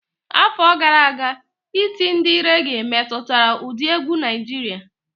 Afọ gara aga, iti ndi réghè metụtara ụdị egwu Naịjirịa.